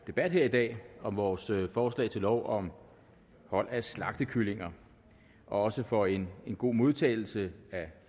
debat her i dag om vores forslag til lov om hold af slagtekalkuner og også for en god modtagelse af